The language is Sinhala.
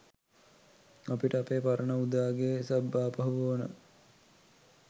අපිට අපේ පරණ උදාගේ සබ් ආපහු ඕනේ.